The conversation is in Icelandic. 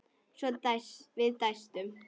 Við dæstum.